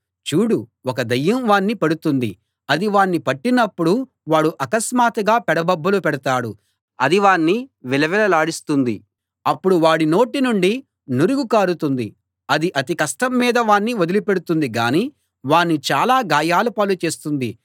చూడు ఒక దయ్యం వాణ్ణి పడుతుంది అది వాణ్ణి పట్టినప్పుడు వాడు అకస్మాత్తుగా పెడబొబ్బలు పెడతాడు అది వాణ్ణి విలవిలలాడిస్తుంది అప్పుడు వాడి నోటి నుండి నురుగు కారుతుంది అది అతి కష్టం మీద వాణ్ణి వదిలిపెడుతుంది గానీ వాణ్ణి చాలా గాయాల పాలు చేస్తుంది